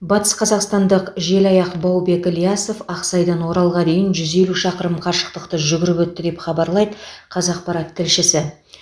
батысқазақстандық желаяқ баубек ілиясов ақсайдан оралға дейін жүз елу шақырым қашықтықты жүгіріп өтті деп хабарлайды қазақпарат тілшісі